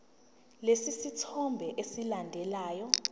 lesi sithombe esilandelayo